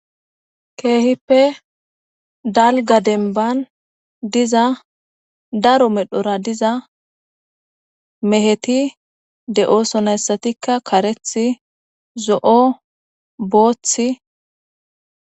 keehippe dalga denban diza daro medhora diza meheti de7osonayssatikka kareth zo7o boothi